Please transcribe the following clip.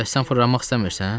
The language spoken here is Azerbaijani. Bəs sən fırlanmaq istəmirsən?